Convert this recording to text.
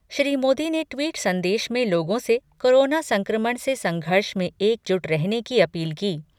श्री मोदी ने ट्वीट संदेश में लोगों से कोरोना संक्रमण से संघर्ष में एकजुट रहने की अपील की।